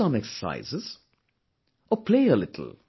Do some exercises or play a little